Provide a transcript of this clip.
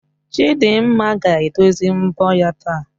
Chidimma ga-edozi mbọ ya taa